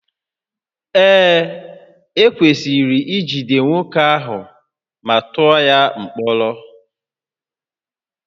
Ee, ekwesịrị ijide nwoke ahụ ma tụọ ya mkpọrọ